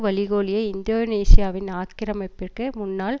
வழிகோலிய இந்தோனேசியாவின் ஆக்கிரமிப்பிற்கு முன்னாள்